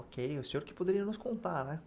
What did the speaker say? Ok, o senhor que poderia nos contar, né?